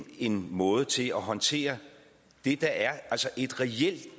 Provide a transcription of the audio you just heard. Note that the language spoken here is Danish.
en måde til at håndtere det der er et reelt